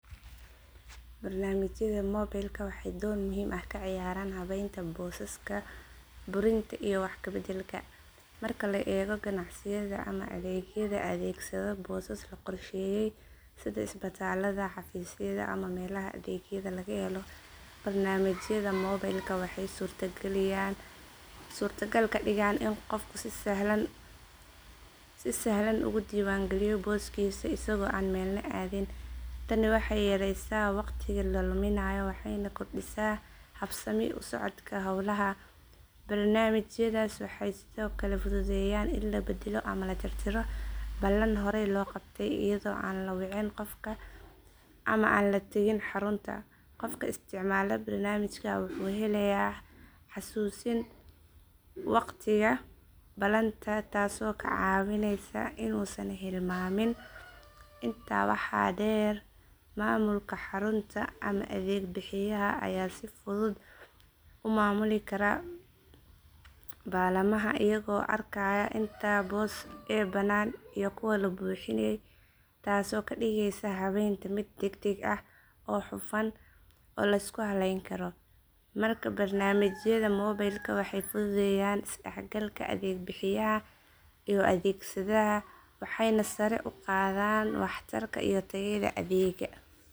Barnaamijyada mobilka waxay door muhiim ah ka ciyaaraan habaynta boosaska burinta iyo wax kabedelka. Marka la eego ganacsiyada ama adeegyada adeegsada boosas la qorsheeyey sida isbitaalada xafiisyada ama meelaha adeegyada laga helo barnaamijyada mobilka waxay suurtagal ka dhigaan in qofku si sahlan uga diiwaangaliyo booskiisa isagoo aan meelna aadin. Tani waxay yareysaa wakhtiga la luminayo waxayna kordhisaa habsami u socodka howlaha. Barnaamijyadaas waxay sidoo kale fududeeyaan in la beddelo ama la tirtirro ballan horey loo qabtay iyadoo aan la wicin qof kale ama aan la tagin xarunta. Qofka isticmaala barnaamijka wuxuu helayaa xasuusin wakhtiga ballanta taasoo ka caawinaysa inuusan hilmaamin. Intaa waxaa dheer, maamulka xarunta ama adeeg bixiyaha ayaa si fudud u maamuli kara ballamaha iyagoo arkaya inta boos ee bannaan iyo kuwa la buuxiyey taasoo ka dhigaysa habaynta mid deg deg ah hufan oo la isku halayn karo. Markaa barnaamijyada mobilka waxay fududeeyaan isdhexgalka adeeg bixiyaha iyo adeegsadaha waxayna sare u qaadaan waxtarka iyo tayada adeegga.